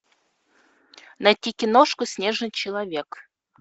найти киношку снежный человек